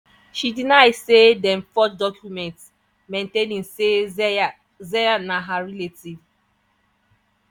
she deny say dem forge documents maintaining say zeya zeya na her relative.